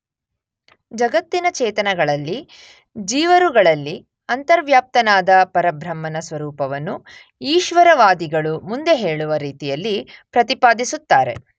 ಜಗತ್ತಿನ ಚೇತನಗಳಲ್ಲಿ ಜೀವರುಗಳಲ್ಲಿ ಅಂತರ್ವ್ಯಾಪ್ತನಾದ ಪರಬ್ರಹ್ಮನ ಸ್ವರೂಪವನ್ನು ಈಶ್ವರವಾದಿಗಳು ಮುಂದೆ ಹೇಳುವ ರೀತಿಯಲ್ಲಿ ಪ್ರತಿಪಾದಿಸುತ್ತಾರೆ.